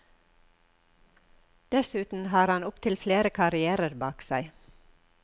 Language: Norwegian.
Dessuten har han opptil flere karrièrer bak seg.